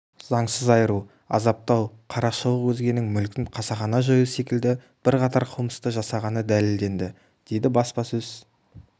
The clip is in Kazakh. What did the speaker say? заңсыз айыру азаптау қарақшылық өзгенің мүлкін қасақана жою секілді бірқатар қылмысты жасағаны дәлелденді дейді баспасөз